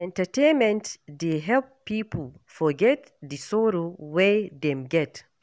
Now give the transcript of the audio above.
Entertainment dey help pipo forget di sorrow wey dem get.